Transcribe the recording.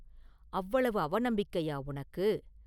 அவ்வளவு அவநம்பிக்கையா உனக்கு?